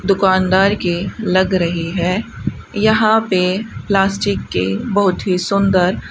दुकानदार के लग रही है यहां पे प्लास्टिक के बहुत ही सुंदर --